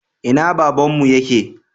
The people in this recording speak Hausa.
Ina babanmu yake?